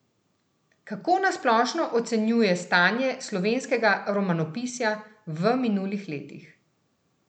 Kako na splošno ocenjuje stanje slovenskega romanopisja v minulih letih?